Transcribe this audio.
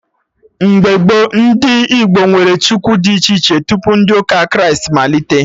Mgbe gboo, ndị Igbo nwere Chukwu dị iche iche, tupu ndị ụka Kraịst malite